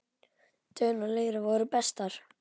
Dögun og Leira voru bestar.